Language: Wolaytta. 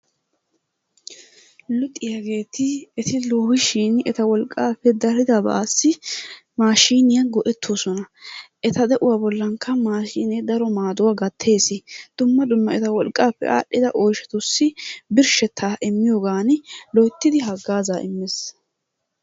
Luxiyageeti eti loohishin eta wolqqaappe daridabaassi maashiiniya go'ettoosona. Eta de'uwa bollankka maashiinee daro maaduwa gatteesi. Dumma dumma eta wolqqaappe aadhdhida oyshatussi birshshettaa immiyogaani loyttidi haggaazaa immees.